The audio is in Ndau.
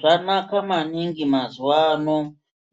Zvanaka maningi mazuwaano